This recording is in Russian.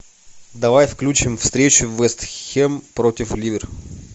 давай включим встречу вест хэм против ливер